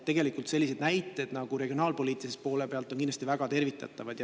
Tegelikult on sellised näited regionaalpoliitilise poole pealt kindlasti väga tervitatavad.